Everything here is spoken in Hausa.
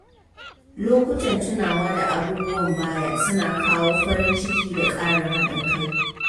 Lokutan tunawa da abubuwan baya suna kawo farin ciki da ƙarin haɗin kai.